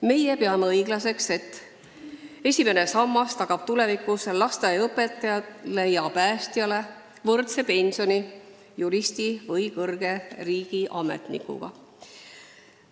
Meie peame õiglaseks, et esimene sammas tagab tulevikus lasteaiaõpetajale ja päästjale võrdse pensioni juristi või kõrge riigiametnikuga.